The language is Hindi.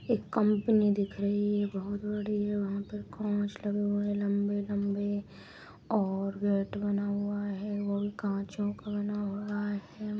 एक कंपनी दिख रही है बहुत बड़ी है वहाँ पे कांच लगे हुए लंबे-लंबे और गेट बना हुआ है और कांचों का बना हुआ है।